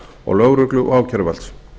og lögreglu og ákæruvalds